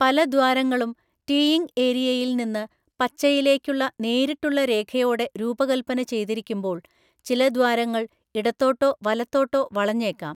പല ദ്വാരങ്ങളും ടീയിംഗ് ഏരിയയിൽ നിന്ന് പച്ചയിലേക്കുള്ള നേരിട്ടുള്ള രേഖയോടെ രൂപകൽപ്പന ചെയ്‌തിരിക്കുമ്പോൾ, ചില ദ്വാരങ്ങൾ ഇടത്തോട്ടോ വലത്തോട്ടോ വളഞ്ഞേക്കാം.